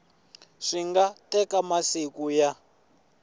swi nga teka masiku ya